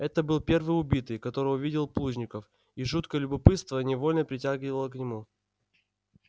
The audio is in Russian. это был первый убитый которого видел плужников и жуткое любопытство невольно притягивало к нему